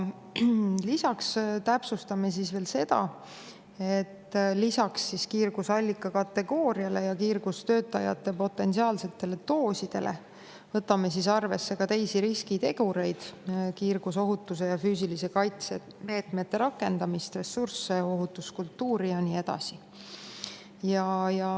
Lisaks täpsustame veel seda, et lisaks kiirgusallika kategooriale ja kiirgustöötajate potentsiaalsetele doosidele võtame arvesse ka teisi riskitegureid, kiirgusohutuse ja füüsilise kaitse meetmete rakendamist, ressursse, ohutuskultuuri ja nii edasi.